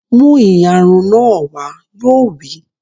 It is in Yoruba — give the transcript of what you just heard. Mú ìyarun náà wá! Yóò wí